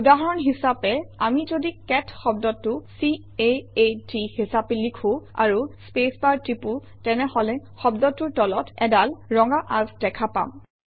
উদাহৰণ হিচাপে আমি যদি কেট শব্দটো c a a ট হিচাপে লিখোঁ আৰু স্পেচবাৰ টিপোঁ তেনেহলে শব্দটোৰ তলত অডাল ৰঙা আঁচ দেখা পাম